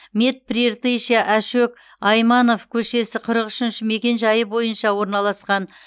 мед прииртышья ашөк айманов көшесі қырық үшінші мекенжайы бойынша орналасқан